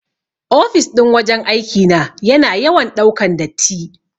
Ofis ɗin wajan aiki na yana yawan ɗaukan datti.